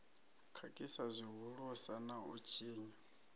khakhisa zwihulusa na u tshinya